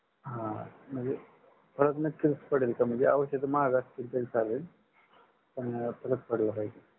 हा म्हणजे फरक नक्कीच पडेल का म्हणजे औषध महाग असतील तरी चालेल पण फरक पडला पाहिजे.